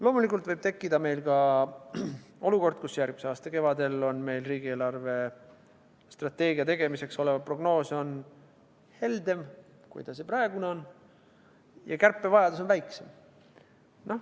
Loomulikult võib tekkida ka olukord, kus järgmise aasta kevadel on meil riigi eelarvestrateegia tegemiseks olev prognoos heldem, kui see praegune, ja kärpevajadus väiksem.